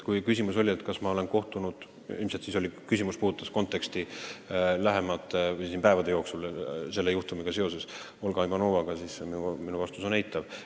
Kui küsimus oli, kas ma olen kohtunud Olga Ivanovaga – ilmselt peeti silmas lähimaid päevi selle juhtumiga seoses –, siis minu vastus on eitav.